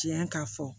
Tiɲɛ ka fɔ